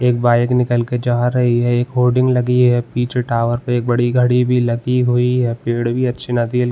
एक बाइक निकल कर जा रही है एक होडिंग लगी है पीछे टावर पे बड़ी गाड़ी भी लगी हुई है पेड भी अच्छे ना --